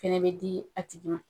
Fɛnɛ bɛ di a tigi ma .